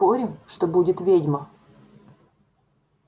спорим что будет ведьма